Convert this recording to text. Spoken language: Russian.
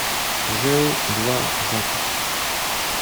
жэу два запись